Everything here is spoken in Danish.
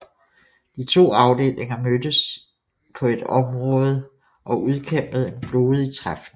De to afdelinger mødtes i på et område og udkæmpede en blodig træfning